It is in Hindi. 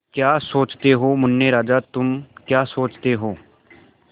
क्या सोचते हो मुन्ने राजा तुम क्या सोचते हो